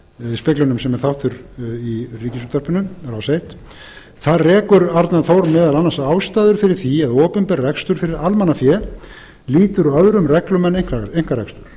nóvember speglinum sem er aftur í ríkisútvarpinu rás eitt þar rekur arnar þór meðal annars ástæður fyrir því að opinber rekstur fyrir almannafé lýtur öðrum reglum en einkarekstur